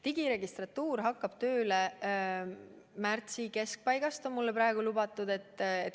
Digiregistratuur hakkab tööle märtsi keskpaigast, nii on mulle praegu lubatud.